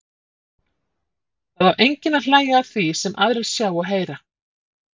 Það á enginn að hlæja að því sem aðrir sjá og heyra.